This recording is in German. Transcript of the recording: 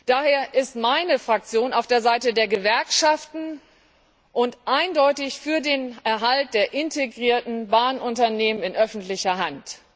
Daher ist meine Fraktion auf der Seite der Gewerkschaften und eindeutig für den Erhalt der integrierten Bahnunternehmen in öffentlicher Hand.